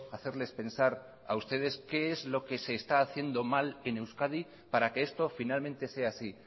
hacerles pensar a ustedes qué es lo que se está haciendo mal en euskadi para que esto finalmente sea así